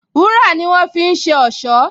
Wúrà ni wọ́n fi ń ṣe ọ̀ṣọ́